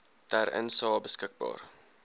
ter insae beskikbaar